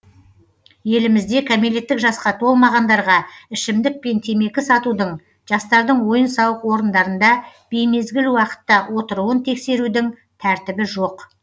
елімізде кәмелеттік жасқа толмағандарға ішімдік пен темекі сатудың жастардың ойын сауық орындарында беймезгіл уақытта отыруын тексерудің тәртібі жоқ